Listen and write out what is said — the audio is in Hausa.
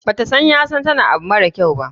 bata so yasan tana abu mara kyau.